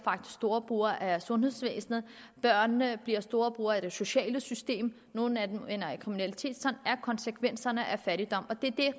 storbrugere af sundhedsvæsenet børnene bliver storbrugere af det sociale system og nogle af dem ender i kriminalitet sådan er konsekvenserne af fattigdom det